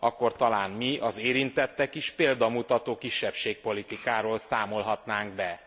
Akkor talán mi, az érintettek is példamutató kisebbségpolitikáról számolhatnánk be.